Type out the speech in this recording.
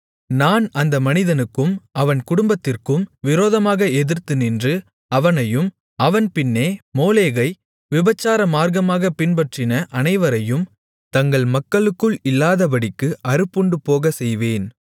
நான் அந்த மனிதனுக்கும் அவன் குடும்பத்திற்கும் விரோதமாக எதிர்த்து நின்று அவனையும் அவன் பின்னே மோளேகை விபசாரமார்க்கமாகப் பின்பற்றின அனைவரையும் தங்கள் மக்களுக்குள் இல்லாதபடிக்கு அறுப்புண்டுபோகச் செய்வேன்